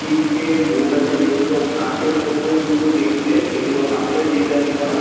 তিনটে বোট আছে যেগুলো হাঁসের মতন পুরো দেখতে এগুলো হাঁসের ডিজাইন করা।